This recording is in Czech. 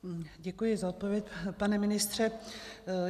Děkuji za odpověď, pane ministře.